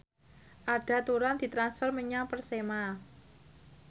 Arda Turan ditransfer menyang Persema